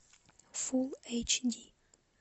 фул эйч ди